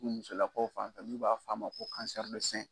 Du musolakaw fanfɛ n'u b'a fɔ a ma ko